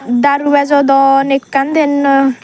daru bejodon ekkan diyan noi.